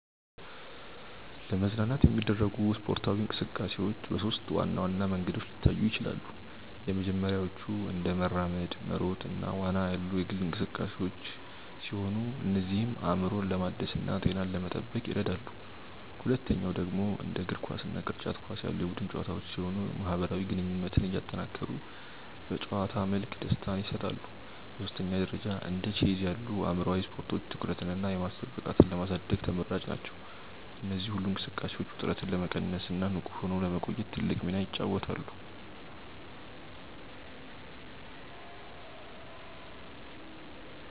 ለመዝናናት የሚደረጉ ስፖርታዊ እንቅስቃሴዎች በሦስት ዋና ዋና መንገዶች ሊታዩ ይችላሉ። የመጀመሪያዎቹ እንደ መራመድ፣ መሮጥ እና ዋና ያሉ የግል እንቅስቃሴዎች ሲሆኑ እነዚህም አእምሮን ለማደስና ጤናን ለመጠበቅ ይረዳሉ። ሁለተኛው ደግሞ እንደ እግር ኳስ እና ቅርጫት ኳስ ያሉ የቡድን ጨዋታዎች ሲሆኑ ማህበራዊ ግንኙነትን እያጠናከሩ በጨዋታ መልክ ደስታን ይሰጣሉ። በሦስተኛ ደረጃ እንደ ቼዝ ያሉ አእምሯዊ ስፖርቶች ትኩረትንና የማሰብ ብቃትን ለማሳደግ ተመራጭ ናቸው። እነዚህ ሁሉ እንቅስቃሴዎች ውጥረትን ለመቀነስና ንቁ ሆኖ ለመቆየት ትልቅ ሚና ይጫወታሉ።